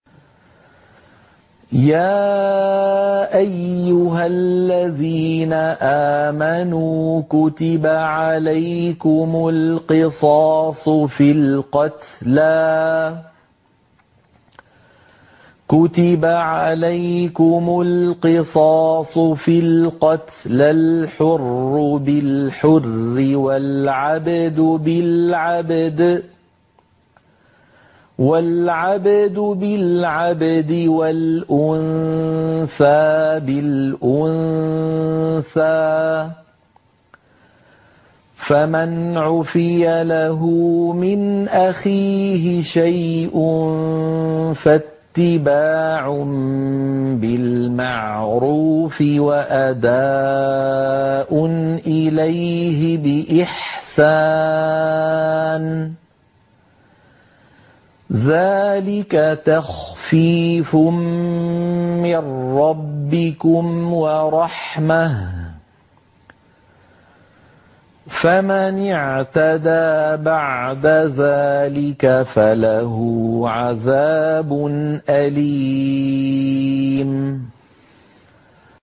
يَا أَيُّهَا الَّذِينَ آمَنُوا كُتِبَ عَلَيْكُمُ الْقِصَاصُ فِي الْقَتْلَى ۖ الْحُرُّ بِالْحُرِّ وَالْعَبْدُ بِالْعَبْدِ وَالْأُنثَىٰ بِالْأُنثَىٰ ۚ فَمَنْ عُفِيَ لَهُ مِنْ أَخِيهِ شَيْءٌ فَاتِّبَاعٌ بِالْمَعْرُوفِ وَأَدَاءٌ إِلَيْهِ بِإِحْسَانٍ ۗ ذَٰلِكَ تَخْفِيفٌ مِّن رَّبِّكُمْ وَرَحْمَةٌ ۗ فَمَنِ اعْتَدَىٰ بَعْدَ ذَٰلِكَ فَلَهُ عَذَابٌ أَلِيمٌ